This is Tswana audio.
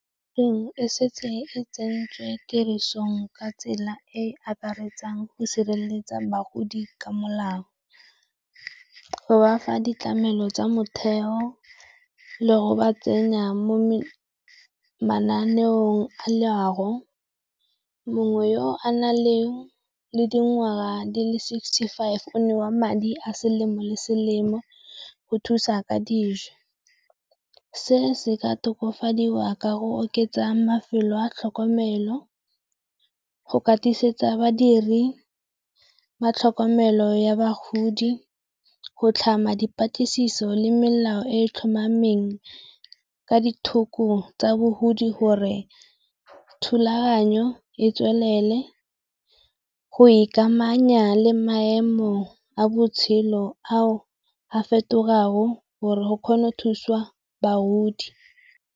E setse e tsentswe tirisong ka tsela e e akaretsang go sireletsa bagodi ka molao. Go bafa ditlamelo tsa motheo le go ba tsenya mo mananeong a leago, mongwe yo a nang le le dingwaga di le sixty five o newa madi a selemo le selemo go thusa ka dijo. Se se ka tokafadiwa ka go oketsa mafelo a tlhokomelo, go katisetsa badiri ba tlhokomelo ya bagodi, go tlhama dipatlisiso le melao e e tlhomameng ka ditlhoko tsa bogodi gore thulaganyo e tswelele, go ikamanya le maemo a botshelo ao a fetogang gore go kgona go thuswa bagodi.